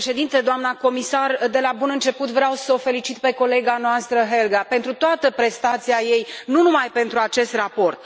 Domnule președinte, doamna comisar, de la bun început vreau să o felicit pe colega noastră Helga pentru toată prestația ei, nu numai pentru acest raport.